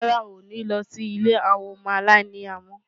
Rárá, n ò lọ sí ilé àwọn ọmọ aláìní ìyá mọ́.